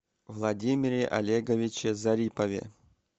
владимире олеговиче зарипове